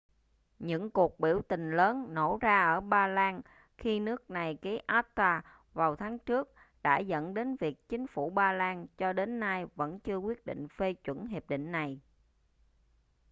những cuộc biểu tình lớn nổ ra ở ba lan khi nước này ký acta vào tháng trước đã dẫn đến việc chính phủ ba lan cho đến nay vẫn chưa quyết định phê chuẩn hiệp định này